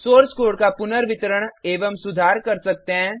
source code का पुनर्वितरण एवं सुधार कर सकते हैं